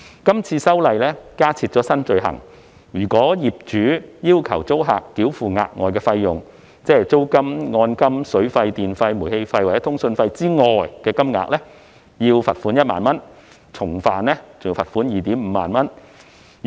這次修例加設新罪行，"劏房"業主如要求租客繳付額外費用，即租金、按金、水費、電費、煤氣費或通訊服務收費以外的金額，可處罰款1萬元，重犯者則可處罰款 25,000 元。